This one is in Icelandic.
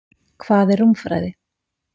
Hvað er rúmfræði?